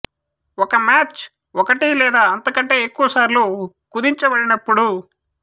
ఒక మ్యాచ్ ఒకటి లేదా అంతకంటే ఎక్కువ సార్లు కుదించబడినప్పుడు